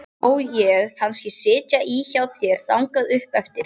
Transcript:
Má ég kannski sitja í hjá þér þangað upp eftir?